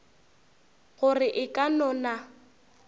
gore e ka no na